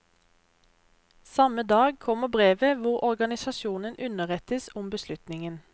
Samme dag kommer brevet hvor organisasjonen underrettes om beslutningen.